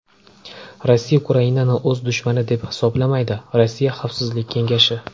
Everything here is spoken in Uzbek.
Rossiya Ukrainani o‘z dushmani deb hisoblamaydi Rossiya Xavfsizlik kengashi.